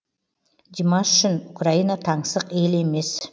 димаш үшін украина таңсық ел емес